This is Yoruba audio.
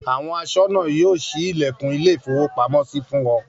Àwọn aṣọ́nà yóò ṣí ilẹ̀kùn ilé-ìfowópamọ́sí fún ọ.